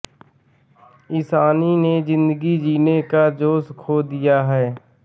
ईशानी ने जिंदगी जीने का जोश खो दिया है